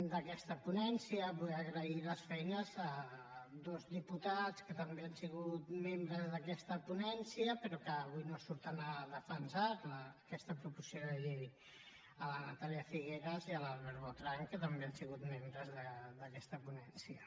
d’aquesta ponència vull agrair les feines a dos diputats que també han sigut membres d’aquest ponència però que avui no surten a defensar la aquesta proposició de llei la natàlia figueras i l’albert botran que també han sigut membres d’aquesta ponència